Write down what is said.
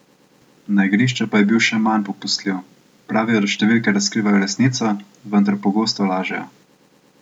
Na igrišču pa je bil še manj popustljiv: "Pravijo, da številke razkrivajo resnico, vendar pogosto lažejo.